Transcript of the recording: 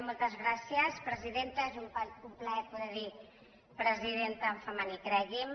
moltes gràcies presidenta és un plaer poder dir presidenta en femení cregui’m